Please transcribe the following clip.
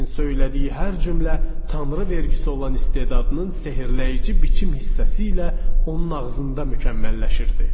Lakin söylədiyi hər cümlə Tanrı vergisi olan istedadının sehirləyici biçim hissəsi ilə onun ağzında mükəmməlləşirdi.